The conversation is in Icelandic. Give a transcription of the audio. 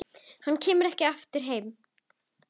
Hann kemur ekki heim aftur.